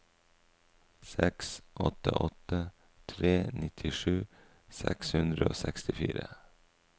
seks åtte åtte tre nittisju seks hundre og sekstifire